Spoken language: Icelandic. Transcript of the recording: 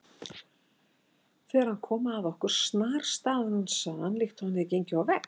Þegar hann kom að okkur snarstansaði hann líkt og hann hefði gengið á vegg.